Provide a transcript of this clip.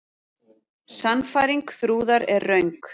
Sannfæring Þrúðar er röng.